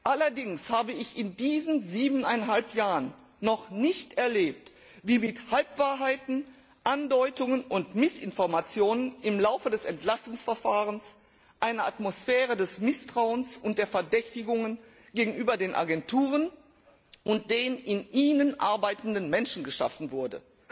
Allerdings habe ich in diesen siebeneinhalb Jahren noch nicht erlebt, wie mit Halbwahrheiten, Andeutungen und Missinformationen im Laufe des Entlastungsverfahrens eine Atmosphäre des Misstrauens und der Verdächtigungen gegenüber den Agenturen und den in ihnen arbeitenden Menschen geschaffen wurde.